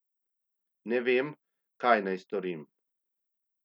Ne vem, kaj naj storim.